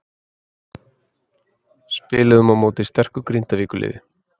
Spiluðum á móti sterku Grindavíkurliði.